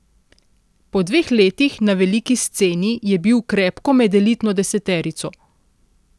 Po dveh letih na veliki sceni je bil krepko med elitno deseterico!